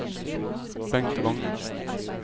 Bengt Wangen